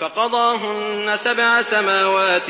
فَقَضَاهُنَّ سَبْعَ سَمَاوَاتٍ